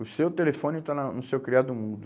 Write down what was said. O seu telefone está na no seu criado mundo.